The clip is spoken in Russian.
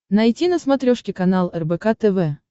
найти на смотрешке канал рбк тв